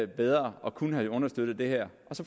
bedre og kunne have understøttet det her